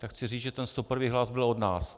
Tak chci říct, že ten 101. hlas byl od nás.